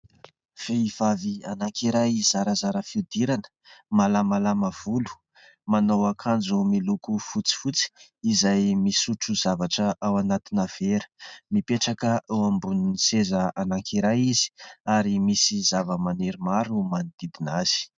Vehivavy anankiray zarazara fihodirana malamalama volo, manao akanjo miloko fotsifotsy izay misotro zavatra ao anatina vera, mipetraka eo ambonin'ny seza anankiray izy ary misy zavamaniry maro manodidina azy.